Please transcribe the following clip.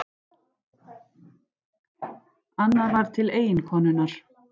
Annað var til eiginkonunnar.